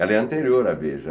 Ela é anterior à Veja.